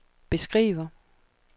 beskriver